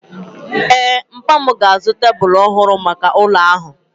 Ee, papa m ga-azụta tebụlų ọhụrụ maka ụlọ ahụ.